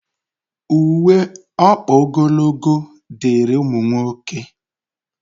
Uwe ọkpa ogologo dịịrị ụmụ nwoke